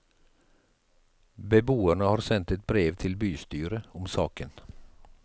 Beboerne har sendt et brev til bystyret om saken.